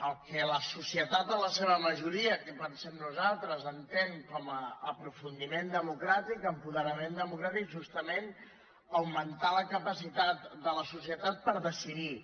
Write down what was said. el que la societat en la seva majoria que ho pensem nosaltres entén com a aprofundiment democràtic apoderament democràtic és justament augmentar la capacitat de la societat per decidir